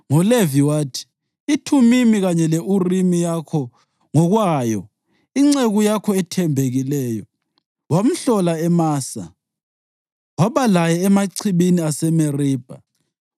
NgoLevi wathi: “IThumimi kanye le-Urimi yakho ngokwayo inceku yakho ethembekileyo. Wamhlola eMasa; waba laye emachibini aseMeribha.